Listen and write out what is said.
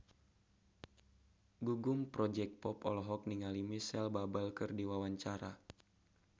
Gugum Project Pop olohok ningali Micheal Bubble keur diwawancara